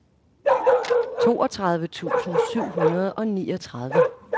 toogtredive tusind syv hundrede og niogtredive